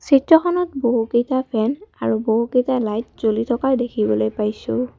চিত্ৰখনত বহুকেইটা ফেন আৰু বহুকেইটা লাইট জ্বলি থকা দেখিবলৈ পাইছোঁ।